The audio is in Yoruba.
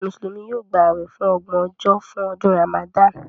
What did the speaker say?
Mùsùlùmí yóò gbà awẹ fun ọgbọn ojo fún ọdún Ramadan